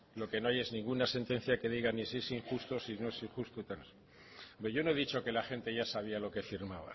lo que no hay es ninguna sentencia que diga ni si es injusto si no es injusto hombre yo no he dicho que la gente ya sabía lo que firmaba